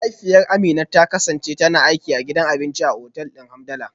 Mahaifiyar Amina ta kasance tana aiki a gidan abinci a otal din Hamdala.